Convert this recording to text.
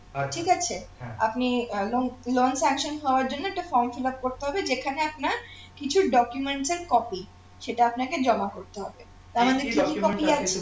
আপনি আহ loan~ loan sanction হওয়ার জন্যে একটা form fillup করতে হবে যেখানে আপনার কিছু documents এর copy সেটা আপনাকে জমা করতে হবে তার মানে কি কি copy আছে